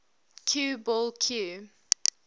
cue ball cue